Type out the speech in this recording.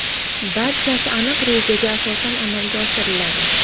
Barchasi aniq rejaga asosan amalga oshiriladi.